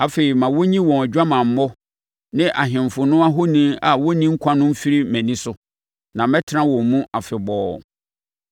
Afei ma wɔnyi wɔn adwamammɔ ne ahemfo no ahoni a wɔnni nkwa no mfiri mʼani so, na mɛtena wɔn mu afebɔɔ.